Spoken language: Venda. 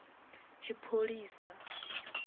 tshipholisa